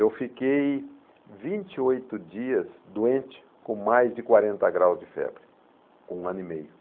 Eu fiquei vinte oitro dias doente com mais de quarenta graus de febre, com um ano e meio.